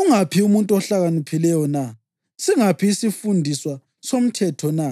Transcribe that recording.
Ungaphi umuntu ohlakaniphileyo na? Singaphi isifundiswa somthetho na?